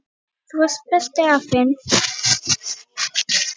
Þú varst besti afinn.